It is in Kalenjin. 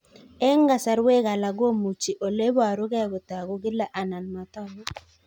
Eng' kasarwek alak komuchi ole parukei kotag'u kila anan matag'u